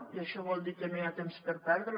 i això vol dir que no hi ha temps per perdre